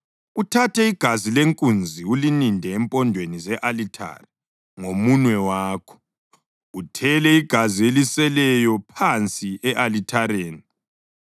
Uthathe igazi lenkunzi ulininde empondweni ze-alithare ngomunwe wakho, uthele igazi eliseleyo phansi e-alithareni.